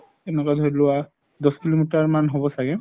তেনেকুৱা ধৰিলোৱা দহ kilometer মান হব চাগে